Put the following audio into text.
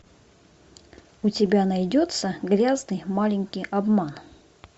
у тебя найдется грязный маленький обман